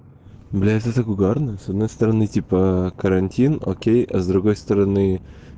блять это так угарно с одной стороны типа карантин окей с другой стороны